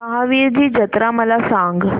महावीरजी जत्रा मला सांग